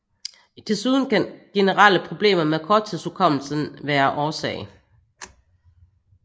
Desuden kan generelle problemer med korttidshukommelsen være årsag